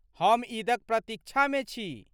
हम ईदक प्रतीक्षामे छी।